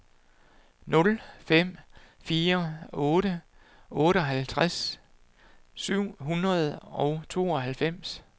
nul fem fire otte otteoghalvtreds syv hundrede og tooghalvfems